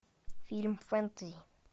фильм фэнтези